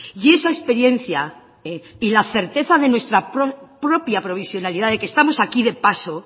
y esa experiencia y la certeza de nuestra propia provisionalidad de que estamos aquí de paso